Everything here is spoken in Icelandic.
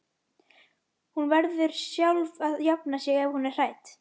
Hún verður sjálf að jafna sig ef hún er hrædd.